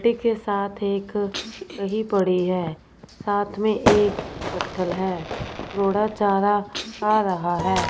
के साथ एक ही पड़ी है साथ में एक पत्थल है घोड़ा चारा खा रहा है।